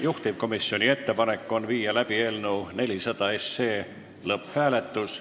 Juhtivkomisjoni ettepanek on viia läbi eelnõu 400 lõpphääletus.